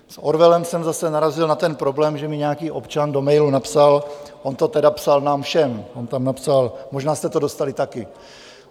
S Orwellem jsem zase narazil na ten problém, že mi nějaký občan do mailu napsal - on to tedy psal nám všem, on tam napsal, možná jste to dostali také.